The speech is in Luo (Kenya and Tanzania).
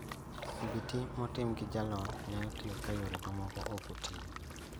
CBT motim gi jalony nyalo tiyo ka yore mamoko okotiyo